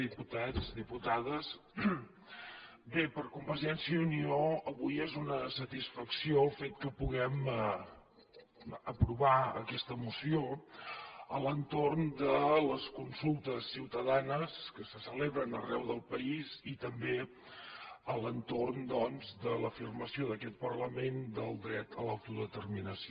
diputats diputades bé per convergència i unió avui és una satisfacció el fet que puguem aprovar aquesta moció a l’entorn de les consultes ciutadanes que se celebren arreu del país i també a l’entorn doncs de l’afirmació d’aquest parlament del dret a l’autodeterminació